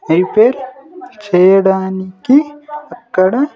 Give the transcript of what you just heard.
Prepare చేయడానికి అక్కడ.